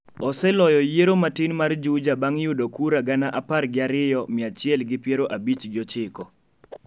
oseloyo yiero matin mar Juja bang' yudo kura gana apar gi ariyo, mia achiel gi piero abich gi ochiko